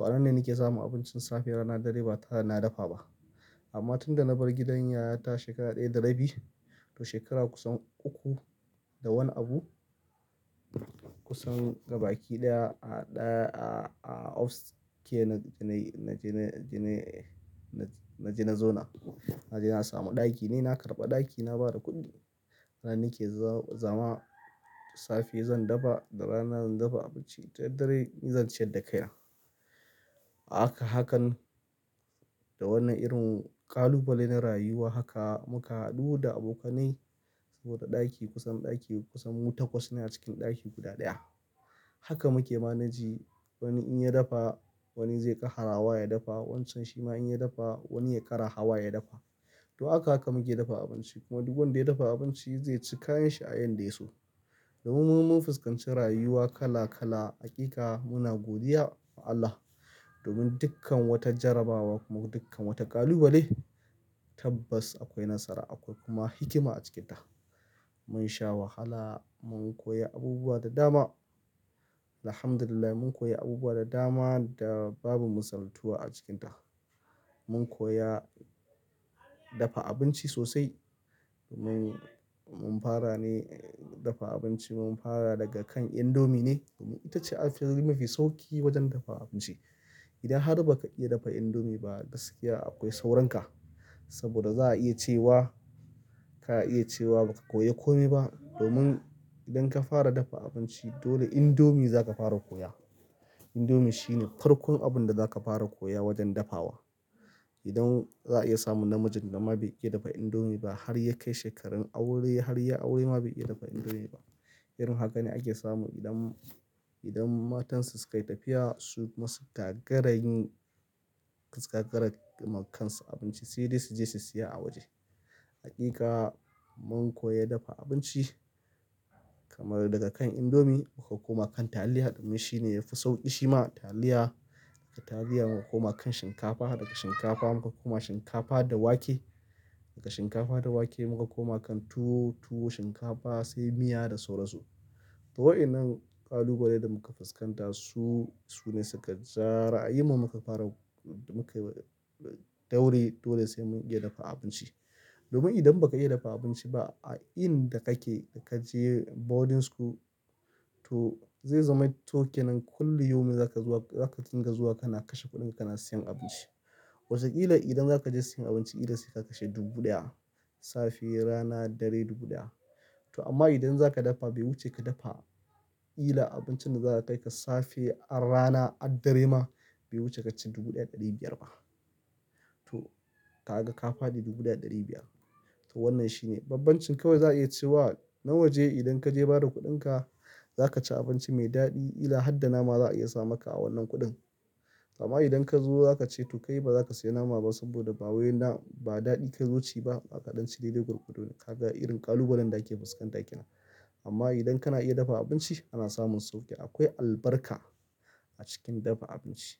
A nan ne nake samun abincin safe dare ba tareda sai na dafa ba amman tunda na bar gidan yayata shekara daya da rabi shekara kusan uku da wani abu upke naje na zauna na je na samu ɗaki, ne na karɓa ɗaki, na bada kuɗi. Anan nake zama safe zan dafa da rana zan dafa abinci. Dare dare ni zan ci yadda kai na. A haka, hakan da wannan irin ƙalubalen na rayuwa haka muka haɗu da abokanai saboda ɗaki kusan ɗaki kusan mutum takwas ne a cikin ɗaki guda ɗaya. Maka muke malegin wani inya dafa wani zai ɗawa ya dafa. Wancan shi ma in ya dafa wani ya karawa ya dafa. To haka aka muke dafa abinci kuma duk wanda ya dafa abinci zai ci kayan shi a yanda ya so. Domin mu mun fuskanci rayuwa kala kala. Hakika muna godiya ma Allah domin dukkan wata jarabawa kuma dukkan wata ƙalubale tabbas akwai nasara, akwai kuma hikima a cikinta. Mun sha wahala mun koyi abubuwa da dama alhamdullilah mun koyi abubuwa da dama da babu misaltuwa a cikin ta mun koya dafa abinci sosai. Domin mun fara ne dafa abinci mun fara daga kan indomie ne. Domin ita ce abin mafi sauƙi wajen dafa abinci. Idan har ba ka iya dafa indomie ba a gaskiya akwai sauranka. Saboda za a iya cewa ka iya cewa ba ka koya kome ba. Domin idan ka fara dafa abinci dole indomie za ka fara koya. Indomie shine farkon abun da za ka fara koya wajen dafa wa. Don za a iya samun namiji da ma bai iya indomie ba harya kai shekaru aure haryayi aure ma bai iya dafa indomie ba irin haka ne ake samu idan idan mata su suyi tafiya sukuma suka gaza yin suka gagara yima kasu abinci sai dai suje su saya a waje. Hakika mun koya dafa abinci kamar daga kan indomie muka koma kan taliya domin shi ne yafi sauƙi shi ma taliya. Daga taliya muka koma kan shinkafa, daga shinkafa muka koma shinkafa da wake, daga shinkafa da wake muka koma kan tuwo, tuwo, shinkafa sai miya da sauransu. To wa'innan ƙalubale da muka fuskanta su, su ne suka ja ra'ayin mu muka fara, muka daure dole sai mun iya dafa abinci. Domin idan ba ka iya dafa abinci ba a inda kake da ka je boarding school to zai zama to kenan kullum yau mai za ka zuwa, za ka dinga zuwa kana kashe kuɗin ka kana siyan abinci. Wataƙila idan za ka je siyan abinci ila sai ka kashe dubu ɗaya safe rana dare dubu ɗaya. To amma idan za ka dafa bai wuce ka dafa ila abincin da za ka kai ka safe har rana har dare ma bai wuce ka ci dubu ɗaya ɗari biyar ba. To ka ga ka faɗi dubu ɗaya ɗari biyar. To wannan shine bbabancin kawai za'aiya cewa mu muje idan kaje bada kudin ka zaka ci abinci mai daɗi ila harda nama za a iya samaka a wannan kuɗin amma idan ka zo za ka ce to kai ba za ka siya nama ba saboda ba waye na ba daɗi ka zo ci ba. Ka ɗanci dadai gwargwado kaga irin ƙalubalen da ake fuskanta kenan amma idan kana iya dafa abinci kana samun sauki. Akwai albarka a cikin dafa abinci, akwai albarka.